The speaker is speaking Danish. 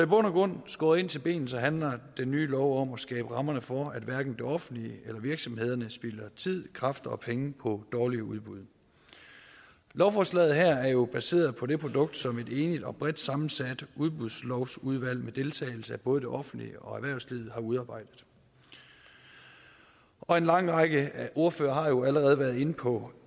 grund skåret ind til benet handler den nye lov om at skabe rammerne for at hverken det offentlige eller virksomhederne spilder tid kræfter og penge på dårlige udbud lovforslaget her er jo baseret på det produkt som et enigt og bredt sammensat udbudslovudvalg med deltagelse af både det offentlige og erhvervslivet har udarbejdet og en lang række ordførere har jo allerede været inde på